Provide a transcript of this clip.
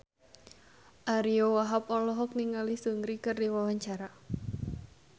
Ariyo Wahab olohok ningali Seungri keur diwawancara